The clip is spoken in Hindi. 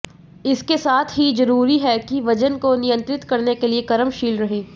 इसके साथ ही जरूरी है कि वजन को नियंत्रित करने के लिए कर्मशील रहें